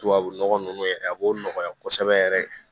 Tubabu nɔgɔ nunnu yɛrɛ a b'o nɔgɔya kosɛbɛ yɛrɛ